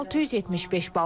675 bal.